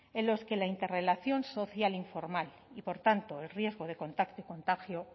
en los que la interrelación social informal y por tanto el riesgo de contacto y contagio